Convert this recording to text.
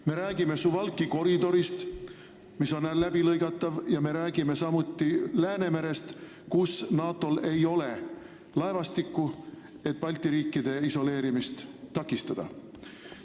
Me räägime Suwalki koridorist, mis on läbilõigatav, samuti Läänemerest, kus ei ole NATO laevastikku, et Balti riikide isoleerimist takistada.